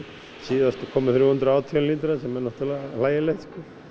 síðast komu þrjú hundruð og átján lítrar sem er náttúrulega hlægilegt